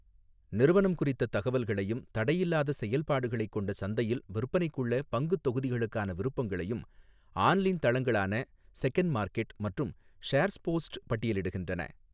நிறுவனம் குறித்தத் தகவல்களையும் தடையில்லாத செயல்பாடுகளைக் கொண்ட சந்தையில் விற்பனைக்குள்ள பங்குத் தொகுதிகளுக்கான விருப்பங்களையும் ஆன்லைன் தளங்களான செகண்ட்மார்க்கெட் மற்றும் ஷேர்ஸ்போஸ்ட் பட்டியலிடுகின்றன.